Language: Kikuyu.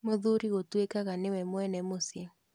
Mũthuri gwatuĩkaga nĩwe mwene mũcĩĩ